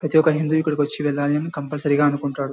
ప్రతి ఒక హిందూ ఇక్కడకి వచ్చి వెళ్ళాలి అని కంపల్సరీ గా అనుకుంటాడు.